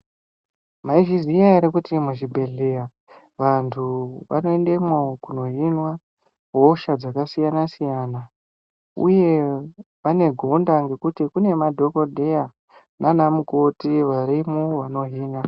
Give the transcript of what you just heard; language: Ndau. Maizviziva here kuti muzvibhedhlera vantu vakapindemwo kundohinwa hosha dzakasiyana-siyana uye vane gonda rekuti Kune madhokoteya nana mukoti varimo vanohina.